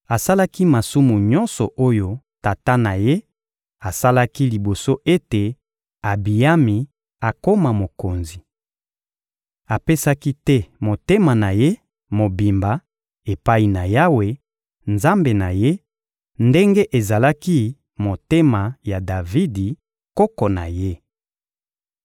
Asalaki masumu nyonso oyo tata na ye asalaki liboso ete Abiyami akoma mokonzi. Apesaki te motema na ye mobimba epai na Yawe, Nzambe na ye, ndenge ezalaki motema ya Davidi, koko na ye.